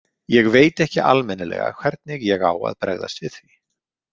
Ég veit ekki almennilega hvernig ég á að bregðast við því.